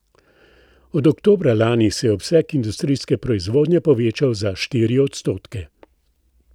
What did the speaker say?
Od oktobra lani se je obseg industrijske proizvodnje povečal za štiri odstotke.